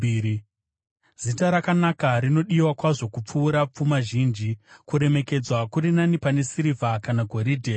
Zita rakanaka rinodiwa kwazvo kupfuura pfuma zhinji; kuremekedzwa kuri nani pane sirivha kana goridhe.